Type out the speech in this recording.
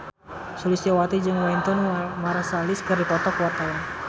Sulistyowati jeung Wynton Marsalis keur dipoto ku wartawan